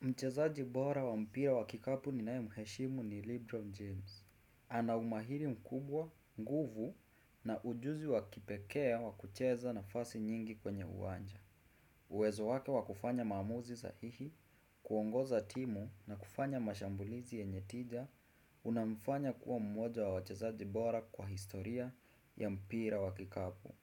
Mchezaji bora wa mpira wa kikapu ninaemheshimu ni Libron James. Ana umahiri mkubwa, nguvu na ujuzi wa kipekee wa kucheza nafasi nyingi kwenye uwanja. Uwezo wake wa kufanya maamuzi za hihi, kuongoza timu na kufanya mashambulizi yenye tija, unamfanya kuwa mmoja wa wchezaji bora kwa historia ya mpira wa kikapu.